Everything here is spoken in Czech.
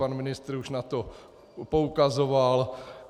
Pan ministr už na to poukazoval.